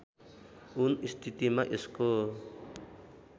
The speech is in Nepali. उन स्थितिमा यसको